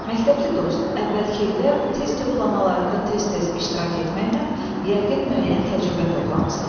Məktəbli dost, əvvəlki illər test yoxlamalarında tez-tez iştirak etməklə yəqin müəyyən təcrübə toplamısan.